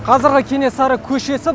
қазіргі кенесары көшесі